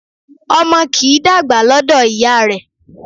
Ọmọ kì í dàgbà lọ́dọ̀ ìyá rẹ